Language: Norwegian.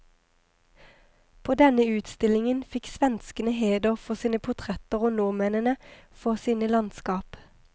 På denne utstillingen fikk svenskene heder for sine portretter og nordmennene for sine landskap.